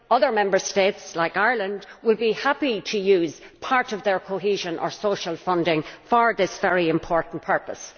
Other Member States, like Ireland, will be happy to use part of their cohesion or social funding for this very important purpose.